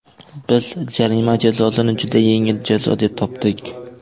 Biz jarima jazosini juda yengil jazo deb topdik.